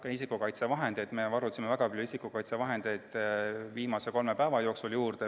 Ka isikukaitsevahendeid varusime väga palju viimase kolme päeva jooksul.